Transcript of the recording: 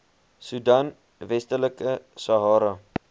soedan westelike sahara